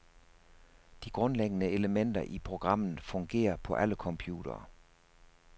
De grundlæggende elementer i programmet fungerer på alle computere.